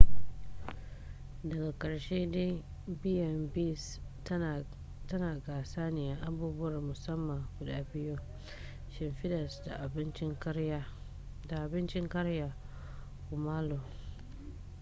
daga karshe dai b&bs tana gasa ne a abubuwar musamman guda biyu: shimfidas da abincin karya kumallo